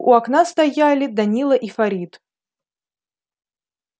у окна стояли данила и фарид